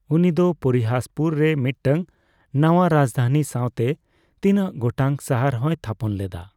ᱩᱱᱤ ᱫᱚ ᱯᱚᱨᱤᱦᱟᱥᱯᱩᱨ ᱨᱮ ᱢᱤᱫᱴᱟᱝ ᱱᱟᱣᱟ ᱨᱟᱡᱫᱷᱟᱱᱤ ᱥᱟᱸᱣᱛᱮ ᱛᱤᱱᱟᱹᱜ ᱜᱚᱴᱟᱝ ᱥᱟᱦᱟᱨ ᱦᱚᱸᱭ ᱛᱷᱟᱯᱚᱱ ᱞᱮᱫᱟ ᱾